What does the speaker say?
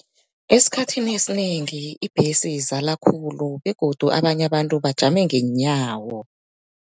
Esikhathini esinengi ibhesi izala khulu begodu abanye abantu bajame ngeenyawo.